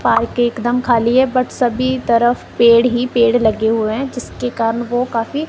park एक दम खाली है बट्ट सभी तरफ पेड़ ही पेड़ लगे हुए हैं जिसके काम को काफी--